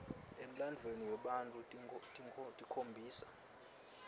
emlandvweni wetfu tikhombisa